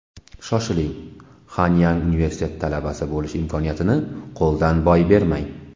Shoshiling, Hanyang University talabasi bo‘lish imkoniyatini qo‘ldan boy bermang!